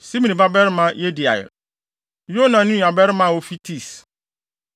Simri babarima Yediael; Yoha ne nuabarima a ofi Tis;